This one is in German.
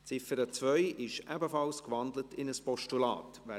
Die Ziffer 2 ist ebenfalls in ein Postulat gewandelt.